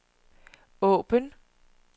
åbn